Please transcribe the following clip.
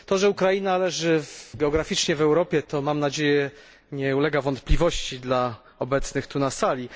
To, że Ukraina leży geograficznie w Europie, mam nadzieję, nie ulega wątpliwości dla obecnych tu na sali.